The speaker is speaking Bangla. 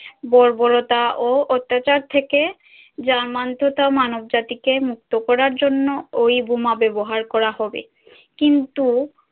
বর্বরতা ও অত্যাচার থেকে জার্মান তো তাও মানব জাতিকে মুক্ত করার জন্য ঐ বোমা ব্যাবহার করা হবে কিন্তু